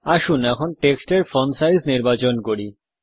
আসুন টেক্সট এর font size নির্বাচন করি